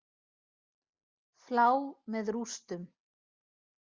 Flá með rústum.